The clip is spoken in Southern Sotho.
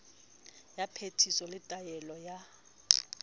ya phetiso le taolo ya